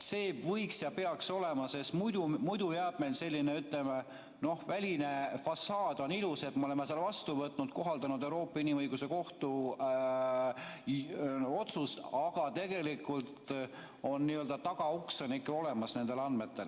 See võiks olla ja peaks olema nii, sest muidu, ütleme, väline fassaad on ilus, me oleme selle vastu võtnud, kohaldanud Euroopa Inimõiguste Kohtu otsusega, aga tegelikult on tagauks ikka olemas nendel andmetel.